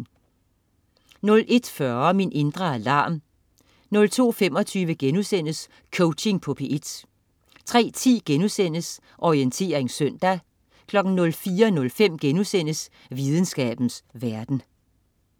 01.40 Min indre alarm 02.25 Coaching på P1* 03.10 Orientering søndag* 04.05 Videnskabens verden*